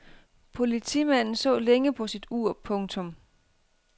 Politimanden så længe på sit ur. punktum